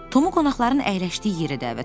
Tomu qonaqların əyləşdiyi yerə dəvət elədilər.